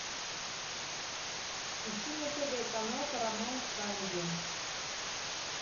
ищи на тв канал парамаунт камеди